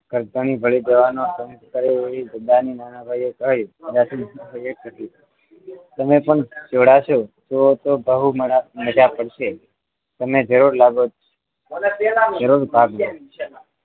ઘરધણી ભળ નાનાભાઈએ કહ્યું તમે પણ જોડાશો તો તો બહુ મજા પડશે તમે જરૂર લાગો જરૂર ભાગ લો